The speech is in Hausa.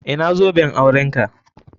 Ina zoben aurenka?